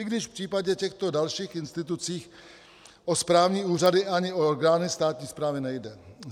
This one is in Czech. I když v případě těchto dalších institucí o správní úřady ani o orgány státní správy nejde.